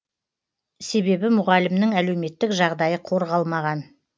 себебі мұғалімнің әлеуметтік жағдайы қорғалмаған